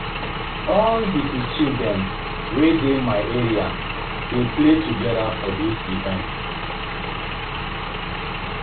All di pikin dem wey dey my area dey play togeda for dis event.